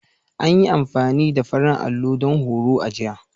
An yi amfani da farin allo don horon a jiya.